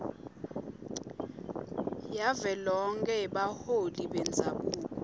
yavelonkhe yebaholi bendzabuko